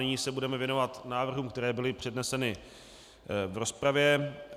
Nyní se budeme věnovat návrhům, které byly předneseny v rozpravě.